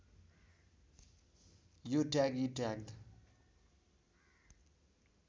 यो ट्याग इ ट्याग्ड